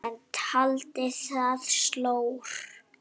Hann taldi það slór.